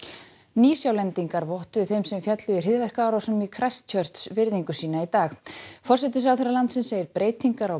Nýsjálendingar vottuðu þeim sem féllu í hryðjuverkaárásunum í virðingu sína í dag forsætisráðherra landsins segir breytingar á